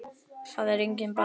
Það er enginn bara vondur.